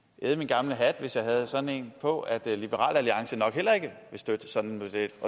æde min gamle hat hvis jeg havde sådan en på at liberal alliance nok heller ikke vil støtte sådan en model